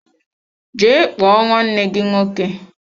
Jee kpọọ nwanne gị nwoke!